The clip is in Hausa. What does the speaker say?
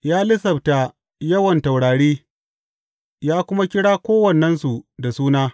Ya lissafta yawan taurari ya kuma kira kowannensu da suna.